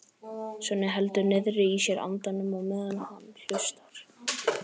Svenni heldur niðri í sér andanum á meðan hann hlustar.